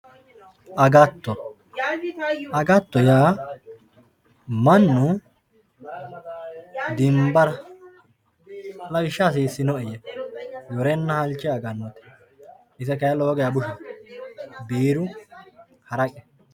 agatto agatto yaa mannu dimbara lawishshaho hasiissinoe yee yorenna halche agannote ise kayiinni lowonta bushate biirunna haraqe.